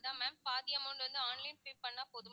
அதான் ma'am பாதி amount வந்து online pay பண்ணா போதுமா